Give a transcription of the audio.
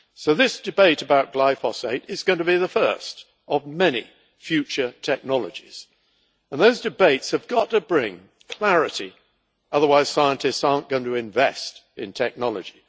This debate about glyphosate is going to be the first of many future technologies, and those debates have got to bring clarity, otherwise scientists are not going to invest in technology.